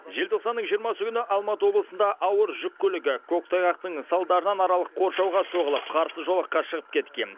желтоқсанның жиырмасы күні алматы облысында ауыр жүк көлігі көктайғақтың салдарынан аралық қоршауға соғылып қарсы жолаққа шығып кеткен